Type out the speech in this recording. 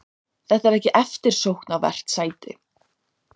Þetta er ekki eftirsóknarvert sæti.